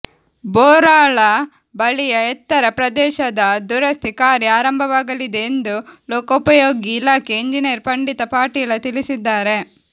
ಬೋರಾಳ ಬಳಿಯ ಎತ್ತರ ಪ್ರದೇಶದ ದುರಸ್ತಿ ಕಾರ್ಯ ಆರಂಭವಾಗಲಿದೆ ಎಂದು ಲೋಕೋಪಯೋಗಿ ಇಲಾಖೆ ಎಂಜಿನಿಯರ್ ಪಂಡಿತ ಪಾಟೀಲ ತಿಳಿಸಿದ್ದಾರೆ